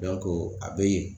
a bɛ yen.